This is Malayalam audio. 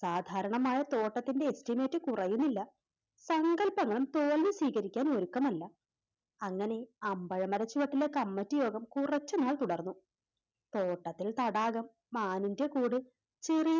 സാധാരണമായ തോട്ടത്തിൻറെ Estimate കുറയുന്നില്ല സങ്കൽപ്പങ്ങളും തോൽവി സ്വീകരിക്കാനൊരുക്കമല്ല അങ്ങനെ അമ്പഴമര ചുവട്ടിലെ കമ്മിറ്റിയോഗം കുറച്ചുനാൾ തുടർന്നു തോട്ടത്തിൽ തടാകം മാനിൻറെ കൂടെ ചെറി